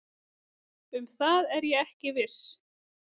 Um það er ég ekki viss